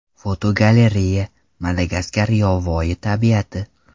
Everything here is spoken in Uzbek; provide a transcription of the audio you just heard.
Fotogalereya: Madagaskar yovvoyi tabiati.